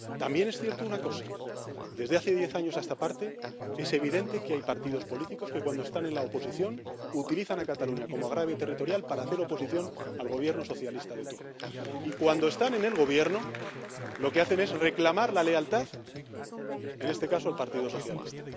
También es cierta una cosa. Desde hace diez años a esta parte, es evidente que hay partidos políticos que, cuando están en la oposición, utilizan a Cataluña como agravio territorial para hacer oposición al Gobierno socialista de turno y, cuando están en el Gobierno, lo que hacen es reclamar la lealtad, en este caso, al Partido Socialista.